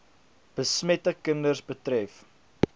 besmette kinders betref